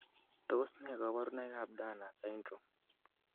Tos nee koborunoikab Turner syndrome?